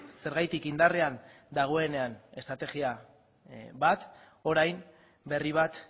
zergatik indarrean dagoenean estrategia bat orain berri bat